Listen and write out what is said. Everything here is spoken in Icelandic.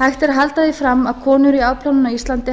hægt er að halda því fram að konur í afplánun á íslandi